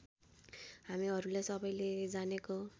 हामीहरूले सबैले जानेको